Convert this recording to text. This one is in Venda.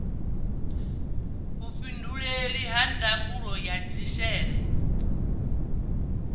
vhuifhinduleli ha ndangulo ya dzhishere